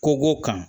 Kogo kan